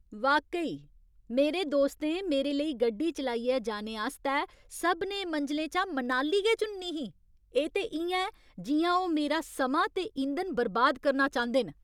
वाकई, मेरे दोस्तें मेरे लेई गड्डी चलाइयै जाने आस्तै सभनें मंजलें चा मनाली गै चुननी ही? एह् ते इ'यां ऐ जि'यां ओह् मेरा समां ते इंधन बर्बाद करना चांह्‌दे न!